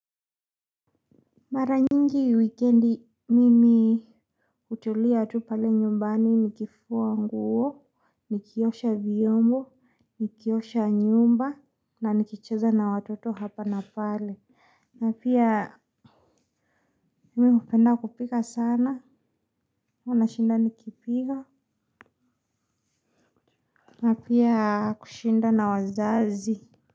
Mara nyingi wikendi mimi hutulia tu pale nyumbani nikifua nguo, nikiosha vyombo, nikiosha nyumba na nikicheza na watoto hapa na pale. Na pia mimi hupenda kupika sana, huwa nashinda nikipika. Napia kushinda na wazazi.